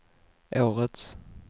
årets